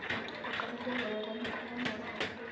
ಅದ್ರ ಪಕ್ಕದಲ್ಲಿ ವೈರ್ ಅನ್ನು ಕೂಡ ನೋಡಬಹುದು.